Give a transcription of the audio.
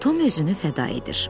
Tom özünü fəda edir.